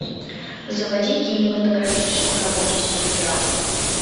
заводи кинематографическую работу в стиле драма